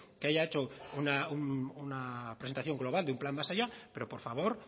que haya hecho una presentación global de un plan más allá pero por favor